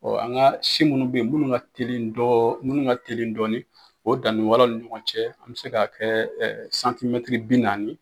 Ɔ an ka si minnu bɛ yen minnu ka teli dɔɔ minnu ka teli dɔɔnin o danni wɛlɛnw ni ɲɔgɔn cɛ an bɛ se k'a kɛ bi naani